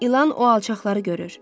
İlan o alçaqları görür.